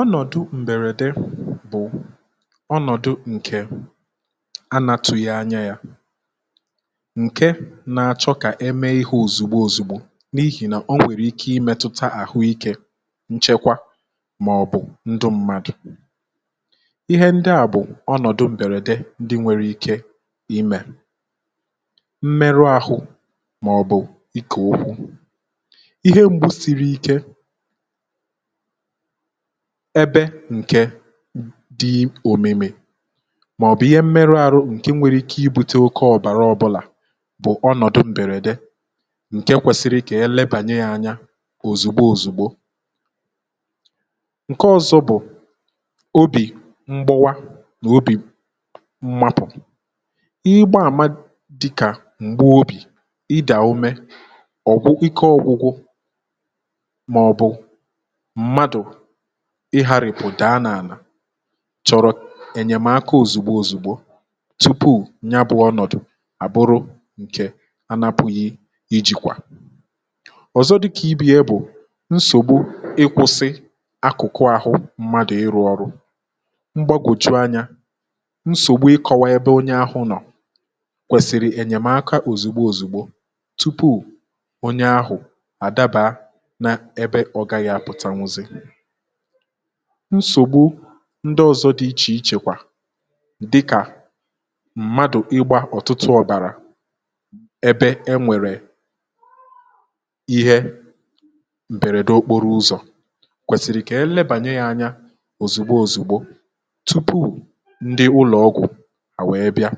ọnọ̀dụ̇ m̀bèrède bụ̀ ọnọ̀dụ̇ ǹkè anatùghị̇ anya yȧ ǹke na-achọ kà eme ihe òzìgbo òzìgbo n’ihì nà o nwèrè ike imėtụta àhụikė nchekwa màọ̀bụ̀ ndụ mmadụ̀, ihe ndị à bụ̀ ọnọ̀dụ̇ m̀bèrède ndị nwere ike imė, mmerụ ahụ̇ màọ̀bụ̀ ike okwu ihe m̀gbu siri ike ebe ǹkè dị òmèmè màọ̀bụ̀ ihe mmerụ aru ǹke nwere ike ibute oke ọ̀bàra ọbụlà bụ̀ ọnọ̀dụ mbèrède ǹke kwèsịrị kà ihe lebànyè yȧ ȧnyȧ òzigbo òzigbo ǹke ọ̇zọ̇ bụ̀ obì mgbụwa n’obì mmapụ̀, ịgba àma dị̇kà m̀gbeobì, ịdàume ọ̀gwụwu ike ọ̇gwụ̇gwụ̇ maọbu mmadụ ịhàrị̀pụ̀ daa n’àlà chọ̀rọ̀ ènyèmaka òzigbo òzigbo tupu ya bụ̇ ọnọ̀dụ àbụrụ ǹkè anapụ̀ghị ijìkwà, ọ̀zọ dịkà ibi̇ ya bụ̀ nsògbu ịkwụ̇sị akụ̀kụ̀ ahụ mmadụ̀ ịrụ̇ ọrụ mgbȧgòjuanyȧ, nsògbu ịkọ̇wa ebe onye ahụ̇ nọ̀ kwèsìrì ènyèmaka òzigbo òzigbo tupu onye ahụ adabaa na ebe ọ gaghị aputanwuzi, nsògbu ndị ọ̀zọ dị ichè ichè kwà dịkà mmadụ̀ ịgbȧ ọ̀tụtụ ọ̀bàrà ebe e nwèrè ihe m̀bèrède okporo ụzọ̀ kwèsìrì kà e lebànyè yȧ ȧnyȧ òzigbo òzigbo tupu ndị ụlọ̀ ọgwụ̀ à wèe bịa,